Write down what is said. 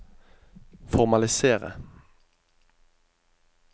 formalisere